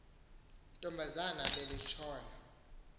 ntombazana beli tshona